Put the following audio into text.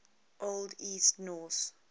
old east norse